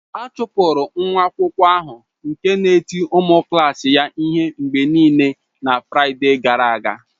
A chụpụrụ nwa akwụkwọ ahụ nke na-eti ụmụ klas ya ihe mgbe niile na Fraịde gara aga.